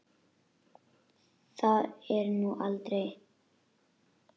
Það er nú eða aldrei.